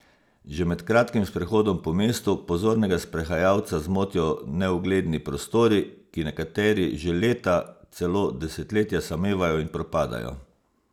Že med kratkim sprehodom po mestu pozornega sprehajalca zmotijo neugledni prostori, ki nekateri že leta, celo desetletja, samevajo in propadajo.